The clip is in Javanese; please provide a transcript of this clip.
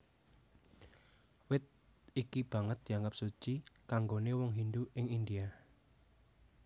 Wit iki banget dianggep suci kanggoné wong Hindu ing India